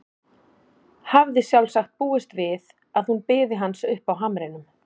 Hafði sjálfsagt búist við að hún biði hans uppi á hamrinum.